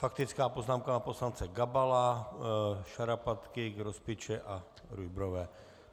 Faktická poznámka pana poslance Gabala, Šarapatky, Grospiče a Rujbrové.